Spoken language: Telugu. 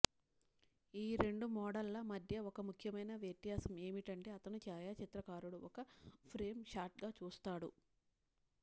ఈ రెండు మోడళ్ల మధ్య ఒక ముఖ్యమైన వ్యత్యాసం ఏమిటంటే అతను ఛాయాచిత్రకారుడు ఒక ఫ్రేమ్ షాట్గా చూస్తాడు